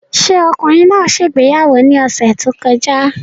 Ṣé ọkùnrin náà ṣe ìgbéyàwó ní ọ̀sẹ̀ tó kọjá?